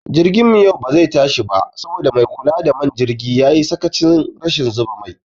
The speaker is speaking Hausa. Jirgin mu yau bazai tashi ba saboda maikula da man jirgi yayi sakachin rashin zuba mai